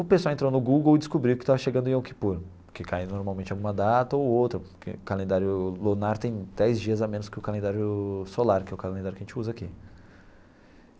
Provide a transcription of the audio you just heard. O pessoal entrou no Google e descobriu que estava chegando o Yom Kippur, que cai normalmente em alguma data ou outra, porque o calendário lunar tem dez dias a menos que o calendário solar, que é o calendário que a gente usa aqui.